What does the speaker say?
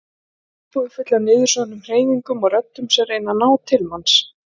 Íbúðin full af niðursoðnum hreyfingum og röddum sem reyna að ná til manns.